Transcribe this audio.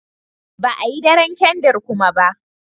Ba a Yi daren kandir kuma ba.